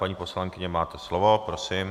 Paní poslankyně, máte slovo, prosím.